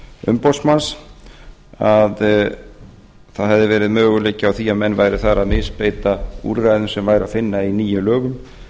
umboðsmanns að það hefði verið möguleiki á því að menn væru þar að misbeita úrræðum sem væri að finna í nýjum lögum